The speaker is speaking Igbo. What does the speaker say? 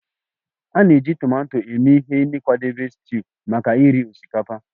A na-eji tomato eme ihe n'ịkwadebe stuuyu maka iri osikapa